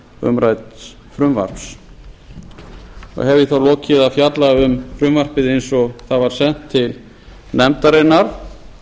umrædds frumvarps hef ég þá lokið við að fjalla um frumvarpið eins og það var sent til nefndarinnar